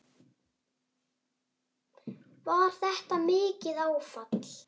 Var þetta mikið áfall?